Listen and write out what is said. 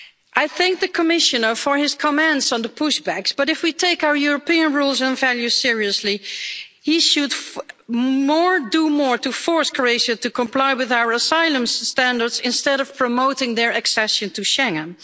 I thank the Commissioner for his comments on the pushbacks, but if we take our European rules and values seriously, he should do more to force Croatia to comply with our asylum standards instead of promoting their accession to Schengen.